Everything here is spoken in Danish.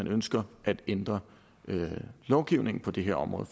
ønsker at ændre lovgivningen på det her område